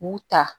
K'u ta